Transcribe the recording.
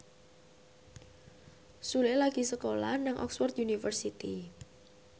Sule lagi sekolah nang Oxford university